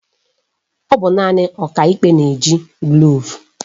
Ọ bụ naanị Ọkaikpe na-eji gavul